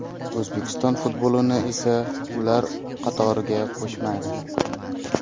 O‘zbekiston futbolini esa ular qatoriga qo‘shmadi.